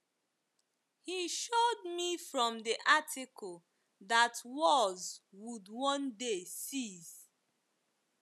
He showed me from the Article that wars would one day cease.